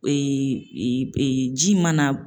ji mana